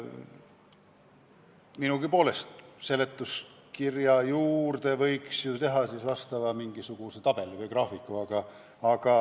Minugi poolest, seletuskirja juurde võiks ju teha mingisuguse tabeli või graafiku.